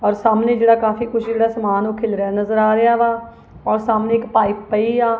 ਔਰ ਸਾਹਮਣੇ ਜਿਹੜਾ ਕਾਫੀ ਕੁਛ ਜਿਹੜਾ ਸਮਾਨ ਓਹ ਖਿੱਲਰਿਆ ਨਜਰ ਆ ਰਿਹਾ ਵਾ ਔਰ ਸਾਹਮਣੇ ਇੱਕ ਪਾਇਪ ਪਈ ਆ।